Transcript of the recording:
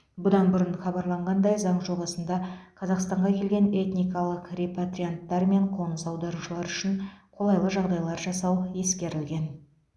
бұдан бұрын хабарланғандай заң жобасында қазақстанға келген этникалық репатрианттар мен қоныс аударушылар үшін қолайлы жағдайлар жасау ескерілген